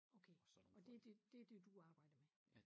Okay og det det det det du arbejder med